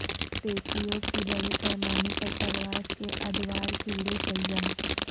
تیتلیوں کی بڑے پیمانے پر پرواز کے ادوار کیڑے شلجم